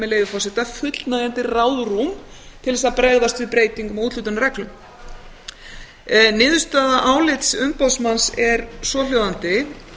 með leyfi forseta fullnægjandi ráðrúm til þess að bregðast við breytingum á úthlutunarreglum niðurstaða álits umboðsmanns er svohljóðandi